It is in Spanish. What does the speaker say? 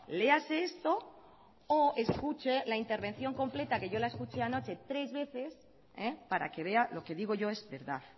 léase esto o escuche la intervención completa que yo la escuché anoche tres veces para que vea lo que digo yo es verdad